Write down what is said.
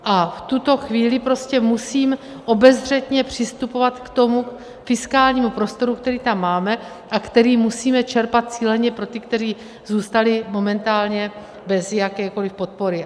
A v tuto chvíli prostě musím obezřetně přistupovat k tomu fiskálnímu prostoru, který tam máme a který musíme čerpat cíleně pro ty, kteří zůstali momentálně bez jakékoliv podpory.